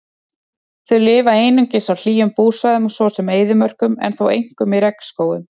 Þau lifa einungis á hlýjum búsvæðum svo sem eyðimörkum en þó einkum í regnskógum.